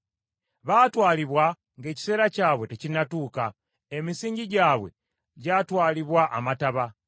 Baatwalibwa ng’ekiseera kyabwe tekinnatuuka, emisingi gyabwe gyatwalibwa amataba.